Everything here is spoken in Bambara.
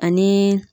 Ani